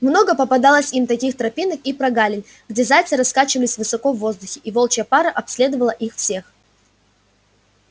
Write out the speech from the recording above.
много попадалось им таких тропинок и прогалин где зайцы раскачивались высоко в воздухе и волчья пара обследовала их всех